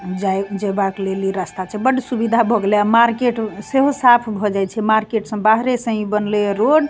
जाई जे बाट लेली रास्ता छे बड सुविधा भोगले आ मार्केट से हो साफ़ हो जाई छे मार्केट सम बाहरे सें ई बनले रोड़ --